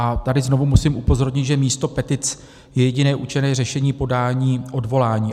A tady znovu musím upozornit, že místo petic je jediné účinné řešení podání odvolání.